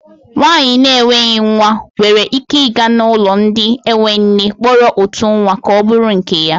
Nwaanyị na enweghị nwa nwere ike ịga n'ụlọ ndị enwe nne kpọrọ otu nwa ka ọ bụrụ nke ya.